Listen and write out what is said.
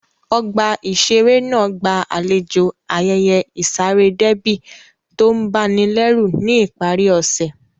Ọgbà ìṣeré náà gba àlejò ayẹyẹ ìsaré déébì tó ń ba ni lẹ́rù ní ìparí ọ̀sẹ̀